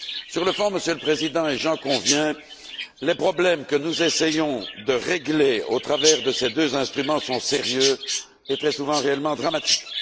Sur le fond, Monsieur le Président, et j'en conviens, les problèmes que nous essayons de régler au travers de ces deux instruments sont sérieux et très souvent réellement dramatiques.